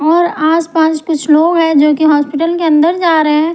और आसपास कुछ लोग हैं जो कि हॉस्पिटल के अंदर जा रहे हैं।